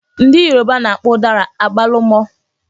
Ndị Yoruba na-akpọ ụdara "agbalụ́mọ"